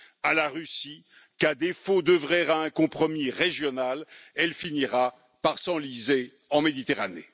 à la Russie qu'à défaut d'œuvrer à un compromis régional, elle finira par s'enliser en Méditerranée.